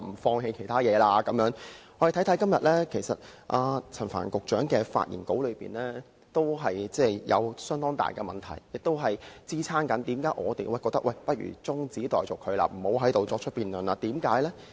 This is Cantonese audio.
看看今天陳帆局長的發言稿，我們也會發現很大的問題，而這亦支持為何我們覺得不如把有關議案中止待續，不要在此進行辯論。